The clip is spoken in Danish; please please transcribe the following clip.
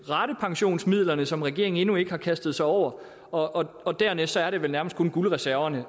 ratepensionsmidlerne som regeringen endnu ikke har kastet sig over og og dernæst er der vel kun guldreserverne